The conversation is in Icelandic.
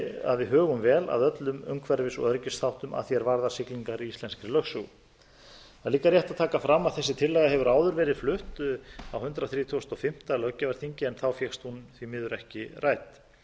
að við hugum vel að öllum umhverfis og öryggisþáttum að því er varðar siglingar í íslenskri lögsögu það er líka rétt að taka fram að þessi tillaga hefur áður verið flutt á hundrað þrítugasta og fimmta löggjafarþingi en þá fékkst hún því miður ekki